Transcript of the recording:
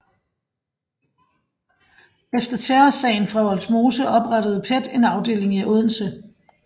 Efter Terrorsagen fra Vollsmose oprettede PET en afdeling i Odense